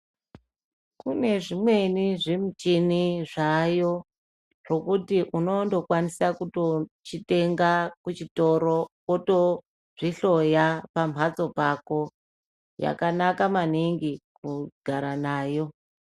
Kune zvimweni zvimichini zvaayo zvekuti unondokwanisa kutochitenga kuchitoro wotozvihloya pamhatso pako yakanaka maningi kugara nayo.